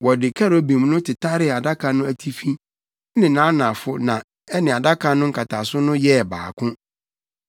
Wɔde kerubim no tetaree adaka no atifi ne nʼanafo na ɛne adaka no nkataso no yɛɛ baako.